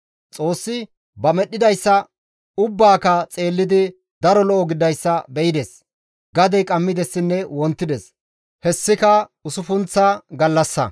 Xoossi ba medhdhidayssa ubbaaka xeellidi daro lo7o gididayssa be7ides. Gadey qammidessinne wontides; hessika usuppunththa gallassa.